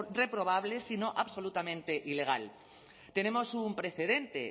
reprobable sino absolutamente ilegal tenemos un precedente